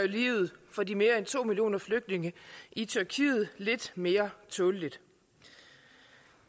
livet for de mere end to millioner flygtninge i tyrkiet lidt mere tåleligt